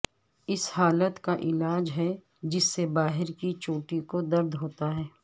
اس حالت کا علاج ہے جس سے باہر کی چوٹی کو درد ہوتا ہے